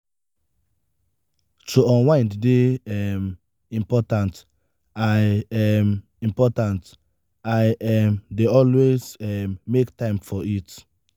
to unwind dey um important; i um important; i um dey always um make time for it.